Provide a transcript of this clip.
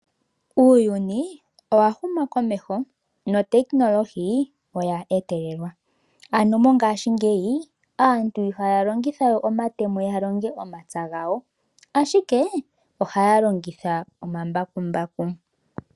Uuyuni owahuma komeho. Mongashingeyi aantu ihaya longitha we omatemo ya longe omapya gawo ashike ohaya longitha omambakumbaku.